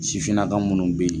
Sifinna ka minnu bɛ yen